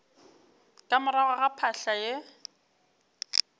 ka morago ga phahla ye